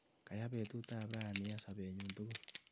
Kayaa betutap rani eng sapenyu tukul.